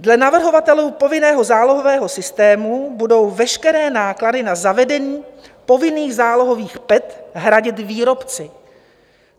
Dle navrhovatelů povinného zálohového systému budou veškeré náklady na zavedení povinných zálohových PET hradit výrobci.